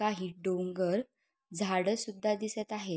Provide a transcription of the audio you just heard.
काही डोंगर झाड सुद्धा दिसत आहेत.